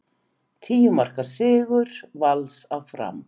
Tíu marka sigur Vals á Fram